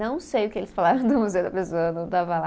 Não sei o que eles falaram do Museu da Pessoa, eu não estava lá.